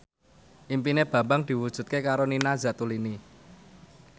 impine Bambang diwujudke karo Nina Zatulini